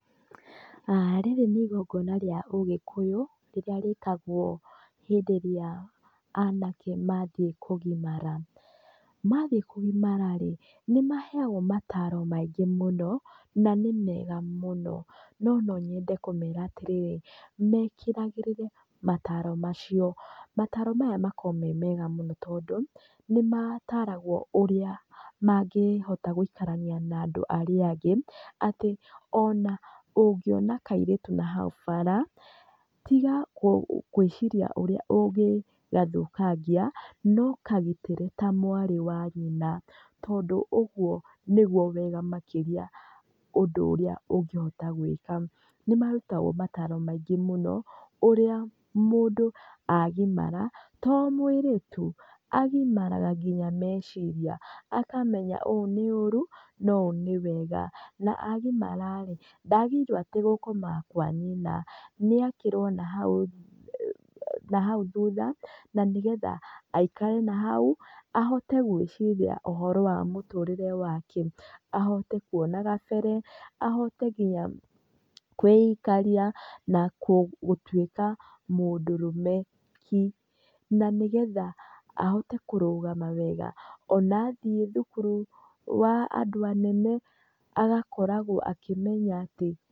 Rĩrĩ nĩ igongona rĩa ũgĩkũyũ, rĩrĩa rĩkagwo hindĩ ĩrĩa anake mathiĩ kũgimara. Mathiĩ kũgimara rĩ, nĩmaheagwo mataro maingĩ mũno, na nĩ mega mũno. No nonyende kũmera atĩrĩrĩ, mekĩragĩrĩre mataro macio, mataro maya makoragwo me mega mũno tondũ, nĩmataragwo ũrĩa mangĩhota gũikarania na andũ arĩa angĩ, atĩ ona ũngĩona kairĩtu nahau bara, tiga kũ kwĩciria ũrĩa ũngĩgathũkangĩa, no kagitĩre ta mwarĩ wa nyina, tondũ ũguo nĩguo wega makĩria ũndũ ũrĩa ũngĩhota gwĩka. Nĩmarutagwo mataro maingĩ mũno, ũrĩa mũndũ agimara, to mwĩrĩ tu, agimaraga nginya meciria. Akamenya ũũ nĩũru, na ũũ nĩwega. Na agimara rĩ, ndagĩrĩirwo atĩ gũkoma kwa nyina, nĩakĩrwo nahau nahau thutha, na nĩgetha aikare nahau, ahote gwĩciria ũhoro wa mũtũrĩre wake, ahote kuona gabere, ahote nginya kwĩ ikaria, na kũ gũtuĩka mũndũrũme ki. Na nĩgetha ahote kũrũgama wega, ona athiĩ thukuru, wa andũ anene, agakoragwo akĩmenya atĩ.